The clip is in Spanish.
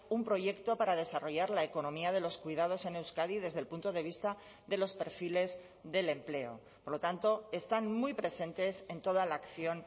un proyecto para desarrollar la economía de los cuidados en euskadi desde el punto de vista de los perfiles del empleo por lo tanto están muy presentes en toda la acción